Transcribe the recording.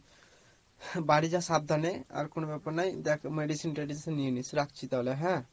বাড়ি যা সাবধানে আর কোনো ব্যাপার নয় দেখ medicine টেডিসিন নিয়ে নিস, রাখছি তাহলে হ্যাঁ?